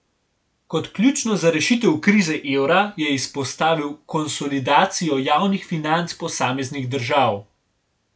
Kot ključno za rešitev krize evra je izpostavil konsolidacijo javnih financ posameznih držav.